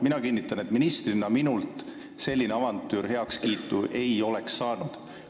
Mina kinnitan, et minult ministrina selline avantüür heakskiitu ei oleks saanud.